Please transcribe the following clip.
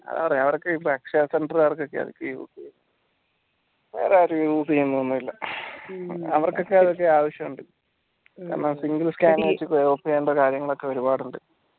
ആ അവിടൊക്കെ akshaya centre വേറാരും use ചെയ്യലൊന്നുല്ല അവർക്കൊക്കെ അത് അവഷുട് കാരണം single scanning ൽ കാര്യങ്ങളൊക്കെ ഒരുപാടുണ്ട്